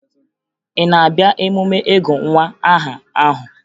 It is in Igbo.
Ị na-abịa emume ịgụ nwa aha ahụ?